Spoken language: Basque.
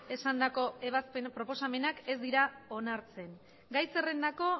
esandako ebazpen proposamenak ez dira onartzen gai zerrendako